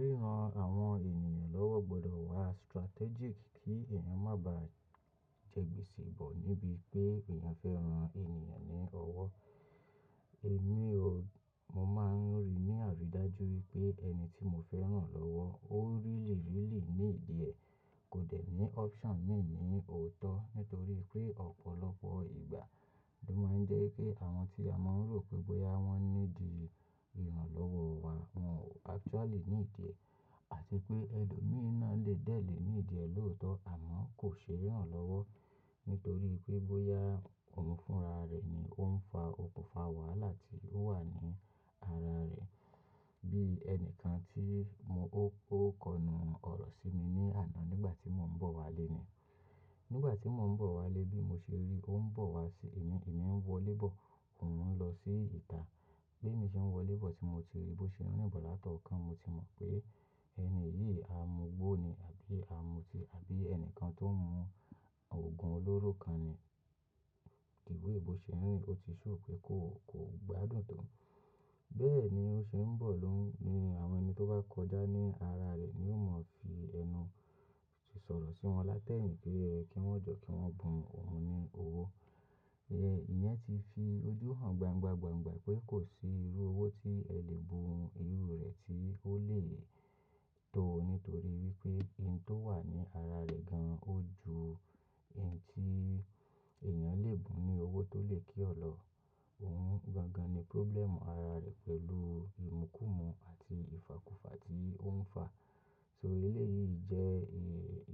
Ríran àwọn ènìyàn lọ́wọ́ gbọdọ̀ wà strategic kí èèyàn má bà je gbese bo níbí pé èèyàn fẹ́ ran ènìyàn ní ọwọ́. Èmi o-- mo máa ń rí ní àrídájú wípé ẹni tí mo fẹ́ rán lọ́wọ́ ó really, really need e, kò dẹ̀ ní option mi ni tòótọ́ nítorí pé ọ̀pọ̀lọpọ̀ ìgbà, ni ó máa ń jẹ́ kí àwọn tí a mọ̀ rò pé bóyá wọ́n need ìrànlọ́wọ́ wa, wọ́n ò actually need e. Àti pé ẹlòmíràn lè dẹ̀ lé ní ìdíẹ̀ lóòótọ́ àmọ́ kò ṣe é rán lọ́wọ́ nítorí pé bóyá òun fúnra rẹ̀ ni ó ń fa okùnfà wàhálà tí ó wà ní ara rẹ̀. Bí ènìkàn tí mo ó, ó kọnu ọ̀rọ̀ sí mi ní àná nígbà tí mò ń bọ̀ wálé ni. Nígbà tí mò ń bọ̀ wálé bí mo ṣe rí ó ń bọ̀ wá sí èmi, èmi ń wọ lébọ̀, òun ń lọ sí ìta. Bí mo ṣe ń wọ lébọ̀ tí mo ti rí bó ṣe ń rìn bọ̀ látọ̀ọ́kan, mo ti mọ̀ pé ẹni yìí amugbó ni àbí amuti àbí ẹnìkan tó ń mu òògùn olóró kan ni. The way bó ṣe ń rìn ó ti show pé kó, kò gbádùn tó. Bẹ́ẹ̀ ni ó ṣe ń bọ̀ lóhùn ni àwọn ẹni tó bá kọjá ní ara rẹ̀ ni yóò mọ̀ fi ẹnu sì sọ̀rọ̀ sí wọn látẹ̀yìn kí wọn jọ̀ kí wọn bùn òun ní owó. Ìyẹn ti fi ojú hàn gbangba, gbangba pé kò sí irú owó tí ẹ lè bun irú rẹ̀ tí ó lè tó nítorí wípé ohun tó wà ní ara rẹ̀ gan-an ó ju ohun tí èèyàn lè bùn ní owó tó lè kí ọ lọ. Òun gangan ni problem ara rẹ̀ pẹ̀lú ìmúkùmú àti ìfàkufà tí ó ń fà. So ilé yìí jẹ́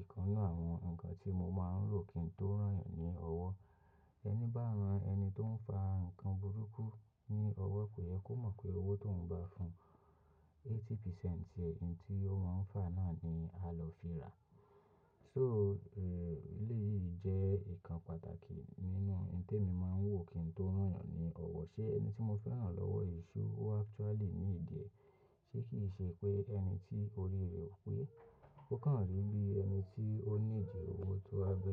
ìkannu àwọn ǹkan tí mo máa ń lò kí n tó rán ẹ̀yàn ní ọwọ́. Ẹni bá rán ẹni tó ń fà ǹkan burúkú ní ọwọ́ pé ẹ kó mọ̀ pé owó tó ń bá fun eighty percent tí ohun tí ó máa ń fà náà ni a lọ fi rà. So, eleyí jẹ́ nǹkan pàtàkì nínú ohun tí mo máa ń wò kí n tó rán ẹ̀yàn ní ọwọ́. Ṣé ẹni tí mo fẹ́ rán lọ́wọ́ se ó actually ní ìdíẹ̀? Ṣé kì í ṣe pé ẹni tí orí rẹ̀ ò pé ó kàn rí bí ẹni tí ó need owó tó wá gbé.